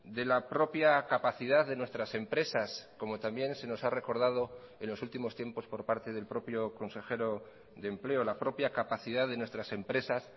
de la propia capacidad de nuestras empresas como también se nos ha recordado en los últimos tiempos por parte del propio consejero de empleo la propia capacidad de nuestras empresas